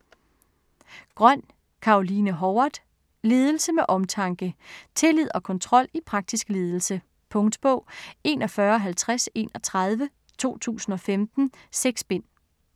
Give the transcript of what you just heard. Grøn, Caroline Howard: Ledelse med omtanke Tillid og kontrol i praktisk ledelse. Punktbog 415031 2015. 6 bind.